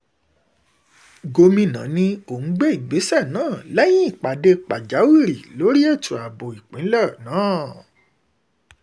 gomina ní òún gbé ìgbésẹ̀ náà lẹ́yìn ìpàdé pàjáwìrì lórí ètò ààbò ìpínlẹ̀ náà náà